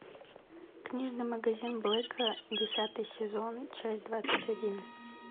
книжный магазин блэка десятый сезон часть двадцать один